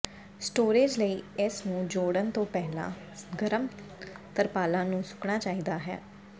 storage ਲਈ ਇਸ ਨੂੰ ਜੋੜਨ ਤੋਂ ਪਹਿਲਾਂ ਗਰਮ ਤਰਪਾਲਾਂ ਨੂੰ ਸੁੱਕਣਾ ਚਾਹੀਦਾ ਹੈ